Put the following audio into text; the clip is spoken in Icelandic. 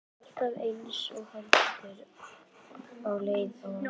Alltaf eins og hamstur á leið á árshátíð.